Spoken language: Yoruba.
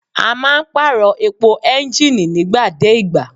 A máa ń pàrọ̀ epo ẹ́ńgìnì nígbà dé ìgbà.